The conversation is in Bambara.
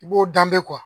I b'o danbe